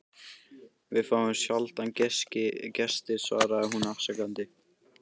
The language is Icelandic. Við fáum sjaldan gesti svaraði hún afsakandi.